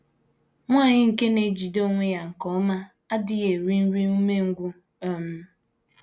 Nwanyị nke na - ejide onwe ya nke ọma adịghị eri “ nri umengwụ um ”